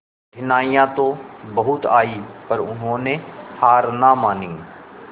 कठिनाइयां तो बहुत आई पर उन्होंने हार ना मानी